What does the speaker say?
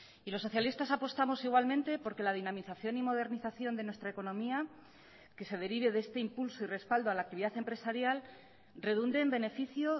y los socialistas apostamos igualmente porque la dinamización y modernización de nuestra economía que se derive de este impulso y respaldo a la actividad empresarial redunde en beneficio